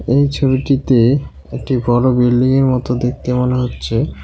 এই ছবিটিতে একটি বড় বিল্ডিংয়ের মত দেখতে মনে হচ্ছে।